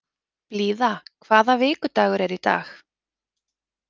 Blíða, hvaða vikudagur er í dag?